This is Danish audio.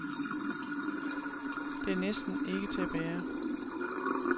Det er næsten ikke til at bære.